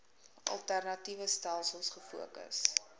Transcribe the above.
alternatiewe stelsels gefokus